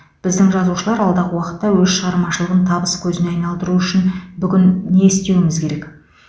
біздің жазушылар алдағы уақытта өз шығармашылығын табыс көзіне айналдыруы үшін бүгін не істеуіміз керек